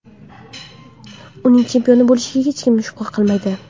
Uning chempion bo‘lishiga hech kim shubha qilmaydi.